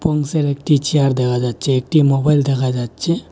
অংশের একটি চেয়ার দেখা যাচ্ছে একটি মোবাইল দেখা যাচ্ছে।